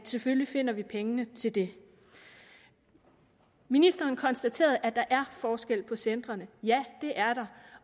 selvfølgelig finder pengene til det ministeren konstaterede at der forskel på centrene ja det er der